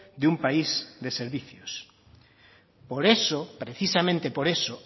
de un país de servicios por eso precisamente por eso